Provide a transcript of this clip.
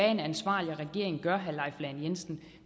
en ansvarlig regering gør til herre leif lahn jensen